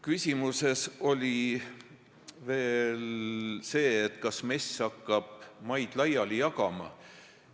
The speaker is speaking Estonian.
Küsimuses kõlas veel see, kas MES hakkab maid laiali jagama.